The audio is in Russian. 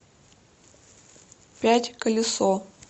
пять колесо